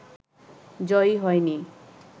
জয়ী হয়নি